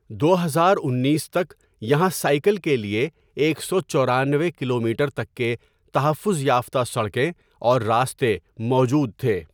دو ہزار انیس تک یہاں سائیکل کے لیے ایک سو چورانوے کلومیٹر تک کے تحفظ یافتہ سڑکیں اور راستے موجود تھے۔